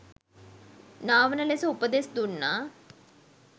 නාවන ලෙස උපදෙස් දුන්නා.